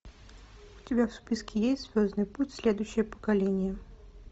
у тебя в списке есть звездный путь следующее поколение